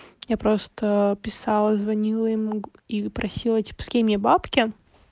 я просто писала и звонила ему и просила типа скинь мне бабки